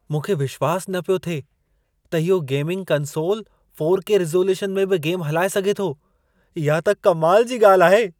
मूंखे विश्वासु न पियो थिए त इहो गेमिंग कंसोलु 4के रिज़ॉल्यूशन में बि गेम हलाए सघे थो! इहा त कमाल जी ॻाल्हि आहे।